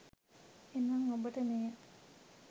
එනම් ඔබට මෙය